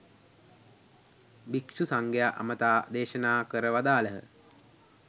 භික්ෂු සංඝයා අමතා දේශනා කර වදාළහ.